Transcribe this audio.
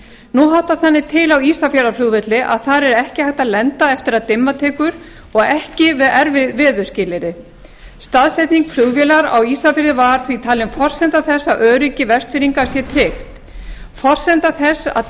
nú háttar þannig til á ísafjarðarflugvelli að þar er ekki hægt að lenda eftir að dimma tekur og ekki við erfið veðurskilyrði staðsetning flugvélar á ísafirði var því talin forsenda þess að öryggi vestfirðinga sé tryggt forsenda þess að